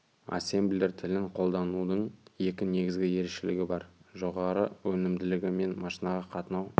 ассемблер тілін қолданудың екі негізгі ерекшелігі бар жоғары өнімділігі мен машинаға қатынау